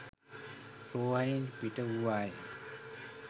රෝහලින් පිටවූවා ය.